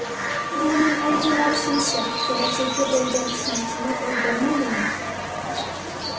Bu uning orzulari sinishi, kelajakka bo‘lgan ishonchini o‘ldirmaydimi?